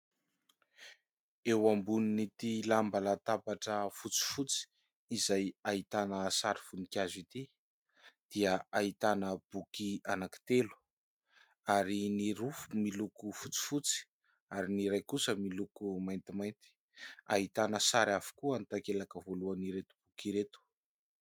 Eo ambonin'ity lamba latabatra fotsifotsy, izay ahitana sary voninkazo ity dia ahitana boky anankitelo : ary ny roa miloko fotsifotsy ary ny iray kosa miloko maintimainty. Ahitana sary avokoa ny takelaka voalohan'ireto boky ireto.